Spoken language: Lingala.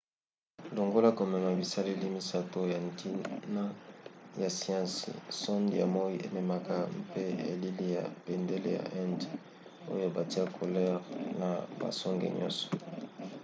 longola komema bisaleli misato ya ntina ya siansi sonde ya moi ememaka mpe elili ya bendele ya inde oyo batya couleur na basonge nyonso